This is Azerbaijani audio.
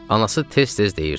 Anası tez-tez deyirdi: